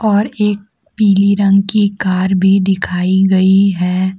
और एक पीली रंग की कार भी दिखाई गईं हैं।